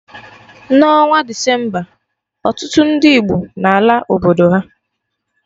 Na onwa Decemba, ọtụtụ ndị Igbo n'ala obodo ha